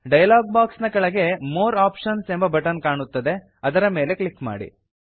dialog box ನ ಕೆಳಗಡೆ more options ಎಂಬ ಬಟನ್ ಕಾಣುತ್ತದೆ ಅದರ ಮೇಲೆ ಕ್ಲಿಕ್ ಮಾಡಿ